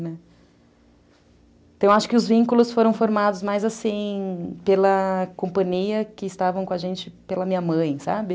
Né, então, acho que os vínculos foram formados mais assim, pela companhia que estava com a gente, pela minha mãe, sabe?